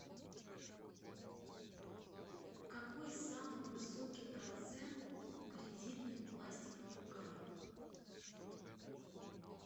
какой самый высокий процент у кредитных пластиковых карт